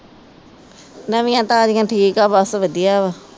ਨਵੀਆਂ ਤਾਜ਼ੀਆਂ ਠੀਕ ਆ ਬਸ ਵਧੀਆ ਵਾ।